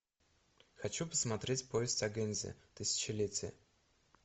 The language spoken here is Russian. хочу посмотреть повесть о гэндзи тысячалетие